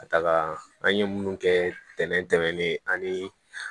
Ka taga an ye minnu kɛ tɛnɛntɛnni ye ani